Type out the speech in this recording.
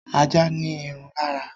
Ajá ní irun lára